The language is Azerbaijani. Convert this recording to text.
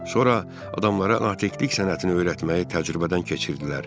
Sonra adamlara natiqlik sənətini öyrətməyi təcrübədən keçirdilər.